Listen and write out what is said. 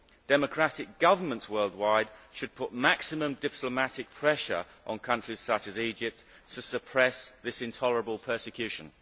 Democratic governments worldwide should put maximum diplomatic pressure on countries such as Egypt to suppress this intolerable persecution.